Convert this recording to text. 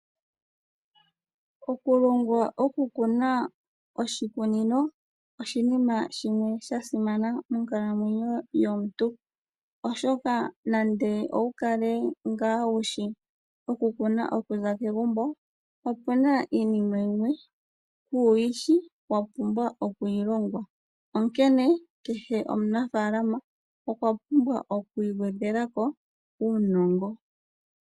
Okulongwa okukuna oshikunino oshinima oshinene sha simana monkalamweyo yomuntu, oshoka nande owu kale ngaa wushi okukuna okuza kegumbo, opuna iinima yimwe ku yishi wa pumbwa oku yi longwa. Onkene kehe omunafalama okwa pumbwa oku igwedhelako uunongo.